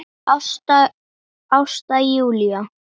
Ásta Júlía.